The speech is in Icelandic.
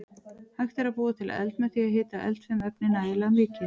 Hægt er að búa til eld með því að hita eldfim efni nægilega mikið.